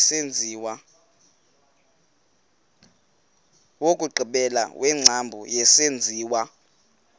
wokugqibela wengcambu yesenziwa